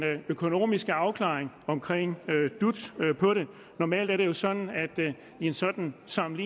økonomiske afklaring om dut normalt er det sådan at i en sådan sag